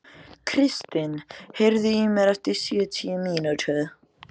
Kristin, heyrðu í mér eftir sjötíu mínútur.